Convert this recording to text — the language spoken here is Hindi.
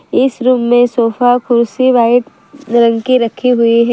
इस रूम में सोफा कुर्सी वाइट रंग की रखी हुई है।